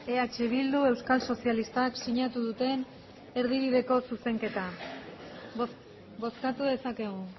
eh bildu euskal sozialistak sinatu duten erdibideko zuzenketa bozkatu dezakegu